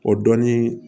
O dɔni